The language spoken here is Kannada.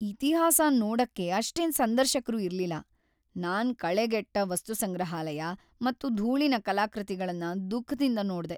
ಇತಿಹಾಸನ್ ನೋಡಕ್ಕೆ ಅಷ್ಟೇನ್ ಸಂದರ್ಶಕರು ಇರ್ಲಿಲ್ಲ. ನಾನ್ ಕಳೆಗೆಟ್ಟ ವಸ್ತುಸಂಗ್ರಹಾಲಯ ಮತ್ತು ಧೂಳಿನ ಕಲಾಕೃತಿಗಳನ್ ದುಃಖದಿಂದ್ ನೋಡ್ಡೆ.